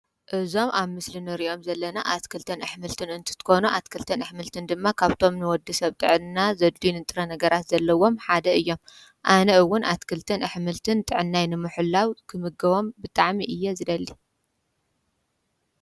እዞም ኣብ ምስሊ እንርእዮም ዘለና አትክልትን አሕምልትን እንትትኾኑ አትክልትን አሕምልትን ድማ ካብቶም ንወድሰብ ጥዕና ዘድልዪን ንጥረ ነገራት ዘለዎም ሓደ እዪም። አነ እውን ኣትክልትን አሕምልትን ጥዕናይ ንምሕላዉ ክምገቦም ብጣዕሚ እየ ይደሊ።